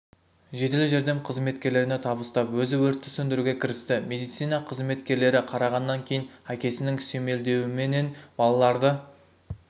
жедел жәрдем қызметкерлеріне табыстап өзі өртті сөндіруге кірісті медицина қызметкерлері қарағаннан кейін әкесінің сүйемелдеуіменен балаларды